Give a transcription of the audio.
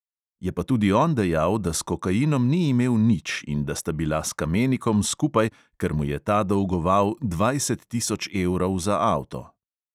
Je pa tudi on dejal, da s kokainom ni imel nič in da sta bila s kamenikom skupaj, ker mu je ta dolgoval dvajset tisoč evrov za avto.